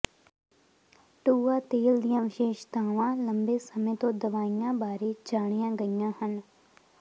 ਟੂਆ ਤੇਲ ਦੀਆਂ ਵਿਸ਼ੇਸ਼ਤਾਵਾਂ ਲੰਬੇ ਸਮੇਂ ਤੋਂ ਦਵਾਈਆਂ ਬਾਰੇ ਜਾਣੀਆਂ ਗਈਆਂ ਹਨ